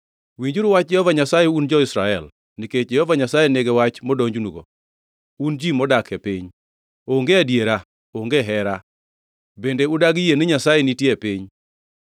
Winjuru wach Jehova Nyasaye, un jo-Israel, nikech Jehova Nyasaye nigi wach modonjonugo, un ji modak e piny: “Onge adiera, onge hera, bende udagi yie ni Nyasaye nitie e piny.